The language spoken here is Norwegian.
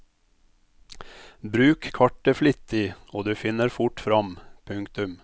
Bruk kartet flittig og du finner fort fram. punktum